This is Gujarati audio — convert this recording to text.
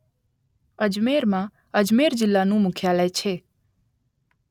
અજમેરમાં અજમેર જિલ્લાનું મુખ્યાલય છે